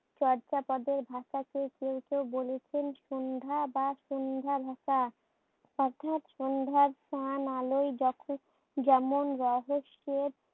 চর্যাপদের ভাষাকে কেউ কেউ বলেছেন সন্ধ্যা বা সন্ধ্যার ভাষা। অর্থাৎ সন্ধ্যার ম্লান আলোয় যখন যেমন রহস্যের